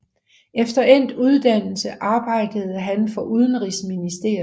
Efter endt uddannelse arbejdede han for udenrigsministeriet